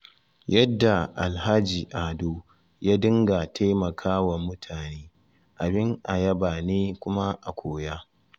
Yadda Alhaji Ado ya dinga taimakwa mutane abin a yaba ne kuma a koya.